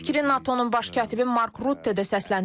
Eyni fikri NATO-nun baş katibi Mark Rutte də səsləndirib.